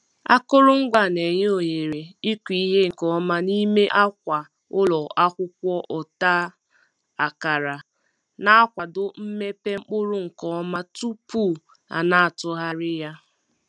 Akụrụngwa a na-enye ohere ịkụ ihe nke ọma n'ime akwa ụlọ akwụkwọ ọta akara, na-akwado mmepe mkpụrụ nke ọma tupu a na-atụgharị ya.